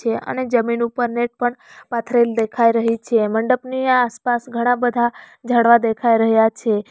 અને જમીન ઉપર નેટ પણ પાથરેલ દેખાય રહી છે મંડપની આસપાસ ઘણા બધા ઝાડવા દેખાય રહ્યા છે.